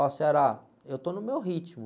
Ó, eu estou no meu ritmo.